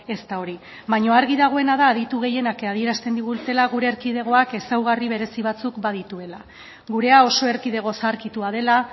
ez da hori baina argi dagoena da aditu gehienak adierazten digutela gure erkidegoak ezaugarri berezi batzuk badituela gurea oso erkidego zaharkitua dela